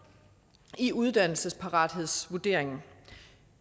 i uddannelsesparathedsvurderingen